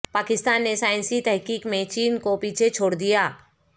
پاکستان نے سائنسی تحقیق میں چین کو پیچھے چھوڑ دیا